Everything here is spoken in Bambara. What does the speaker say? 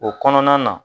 O kɔnɔna na